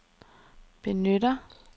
benytter